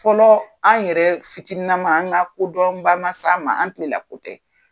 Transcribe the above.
Fɔlɔ an' yɛrɛ fitininama an' ŋa kodɔnba ma s'a ma, an' tile la ko tɛ.